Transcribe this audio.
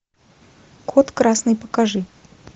код красный покажи